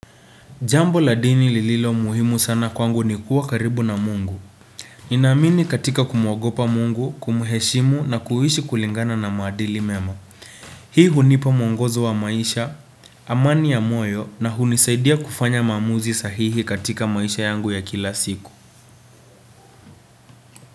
Jambo la dini lililo muhimu sana kwangu ni kuwa karibu na mungu. Ninamini katika kumuogopa mungu, kumuheshimu na kuishi kulingana na maadili mema. Hii hunipa muongozo wa maisha, amani ya moyo na hunisaidia kufanya maamuzi sahihi katika maisha yangu ya kila siku.